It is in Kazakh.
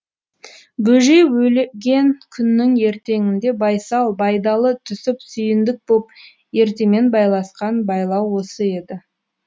бөжей өлген күннің ертеңінде байсал байдалы түсіп сүйіндік боп ертемен байласқан байлау осы еді